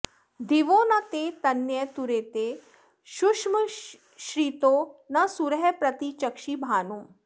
दिवो न ते तन्यतुरेति शुष्मश्चित्रो न सूरः प्रति चक्षि भानुम्